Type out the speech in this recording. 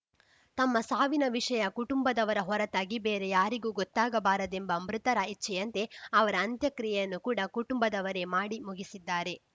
ತಮ್ಮ ಸಾವಿನ ವಿಷಯ ಕುಟುಂಬದವರ ಹೊರತಾಗಿ ಬೇರೆ ಯಾರಿಗೂ ಗೊತ್ತಾಗಬಾರದೆಂಬ ಮೃತರ ಇಚ್ಛೆಯಂತೆ ಅವರ ಅಂತ್ಯಕ್ರಿಯೆಯನ್ನು ಕೂಡ ಕುಟುಂಬದವರೇ ಮಾಡಿ ಮುಗಿಸಿದ್ದಾರೆ